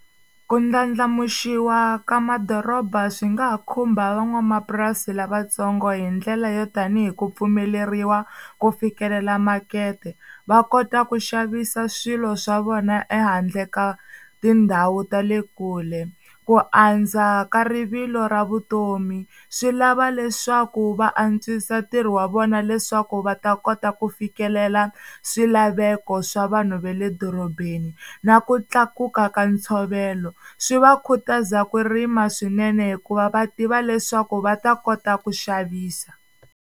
Ku ndlandlamuxiwa ka madoroba swi nga ha khumba van'wamapurasi lavatsongo hi ndlela yo tanihi ku pfumeleriwa ku fikelela makete va kota ku xavisa swilo swa vona ehandle ka tindhawu ta le kule, ku andza ka rivilo ra vutomi swi lava leswaku va antswisa ntirho wa vona leswaku va ta kota ku fikelela swilaveko swa vanhu va le dorobeni na ku tlakuka ka ntshovelo swi va khutaza ku rima swinene hikuva va tiva leswaku va ta kota ku xavisa.